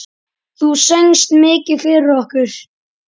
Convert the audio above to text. Þú söngst mikið fyrir okkur.